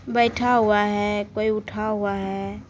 बैठा हुआ है कोई उठा हुआ है।